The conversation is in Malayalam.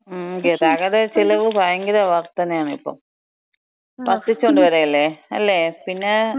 മ്, ഗതാഗത ചെലവ് ഭയങ്കര വർധനയാണ് ഇപ്പം. വർധിച്ചോണ്ട് വരികയല്ലേ..അല്ലേ? പിന്നേ..